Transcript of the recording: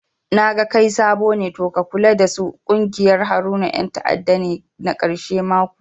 Naga kai sabo ne to ka kula dasu ƙungiyar Haruna yan ta'adda ne na karshe ma kuwa